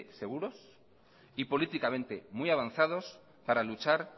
seguros y políticamente muy avanzados para luchar